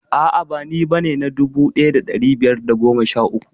A'a ba ni bane na dubu ɗaya da ɗari biyar da goma sha uku